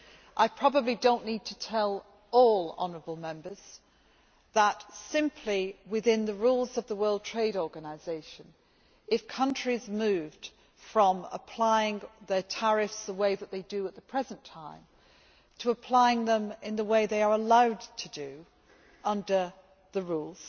I probably do not need to tell all honourable Members that, simply within the rules of the World Trade Organisation, if countries moved from applying their tariffs the way that they do at the present time to applying them in the way they are allowed to do under the rules,